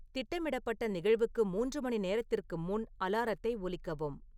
திட்டமிடப்பட்ட நிகழ்வுக்கு மூன்று மணி நேரத்திற்கு முன் அலாரத்தை ஒலிக்கவும்